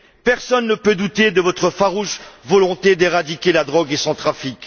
Personne ne peut douter de votre farouche volonté d'éradiquer la drogue et son trafic.